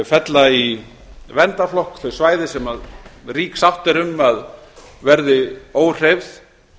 fella í verndarflokk þau svæði sem rík sátt er um að verði óhreyfð